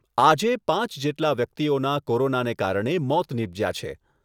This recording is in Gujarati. આજે પાંચ જેટલા વ્યક્તિઓના કોરોનાને કારણે મોત નિપજ્યા છે.